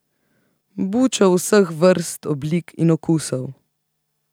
Buča vseh vrst, oblik in okusov.